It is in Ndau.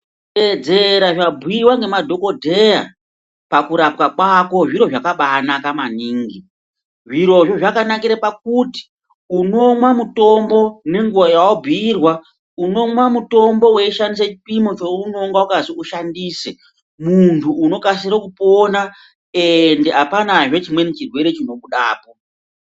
Kuteedzera zvabhuiwa nemadhokodheya ,pakurapwa kwako zviro zvakabaanaka maningi. Zvirozvo zvakanakire pakuti unomwa mutombo nenguwa yawabhuirwa, unomwa mutombo weishandisa chipimo cheunonga wakazi ushandise. Munthu unokasire kupona eendi apanazve chimweni chirwere chinobudapo.